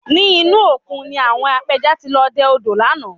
Ní inú òkun ni àwọn apẹja ti lọ dẹ odò lánàá